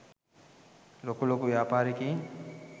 ලොකු ලොකු ව්‍යාපාරිකයින්.